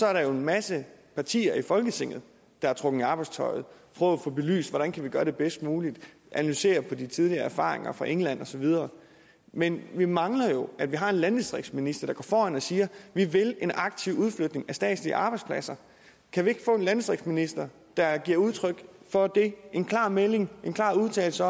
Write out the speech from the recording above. er der en masse partier i folketinget der er trukket i arbejdstøjet for at få belyst hvordan vi kan gøre det bedst muligt analysere på de tidligere erfaringer fra england og så videre men vi mangler jo at vi har en landdistriktsminister der går foran og siger vi vil en aktiv udflytning af statslige arbejdspladser kan vi ikke få en landdistriktsminister der giver udtryk for det kommer en klar melding en klar udtalelse